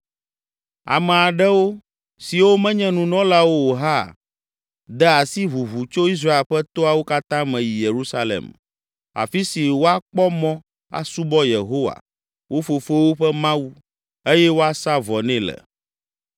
Ame aɖewo, siwo menye nunɔlawo o hã de asi ʋuʋu tso Israel ƒe toawo katã me yi Yerusalem, afi si woakpɔ mɔ asubɔ Yehowa, wo fofowo ƒe Mawu eye woasa vɔ nɛ le.